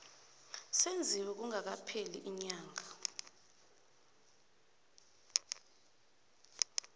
senziwe kungakapheli iinyanga